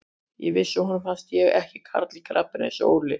Ég vissi að honum fannst ég ekki karl í krapinu eins og Óli.